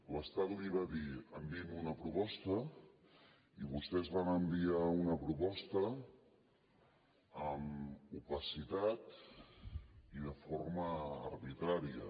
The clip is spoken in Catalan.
l’estat li va dir enviï’m una proposta i vostès van enviar una proposta amb opacitat i de forma arbitrària